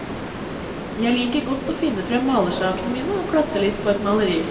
Jeg liker godt å finne frem malersakene mine og klatte litt på et maleri.